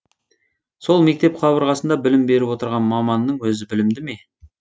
сол мектеп қабырғасында білім беріп отырған маманның өзі білімді ме